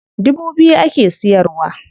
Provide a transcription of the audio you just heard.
Dubu biyu ake siyarwa.